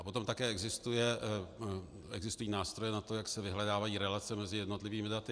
A potom také existují nástroje na to, jak se vyhledávají relace mezi jednotlivými daty.